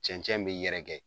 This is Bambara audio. Cɛncɛn bɛ yɛrɛkɛ.